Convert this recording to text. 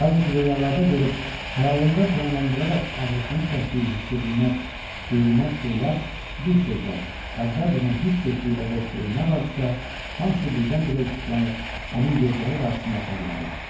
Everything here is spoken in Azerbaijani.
yalnız röyalarda görüb xəyalında canlandıraraq ağrısını çəkdiyi hiss edilməz, duyulmaz şeylər bir sözlə əvvəlcədən hiss etdiyi və qorxduğu nə varıdısa, hamısı birdən-birə işıqlanıb onun gözləri qarşısında parladı.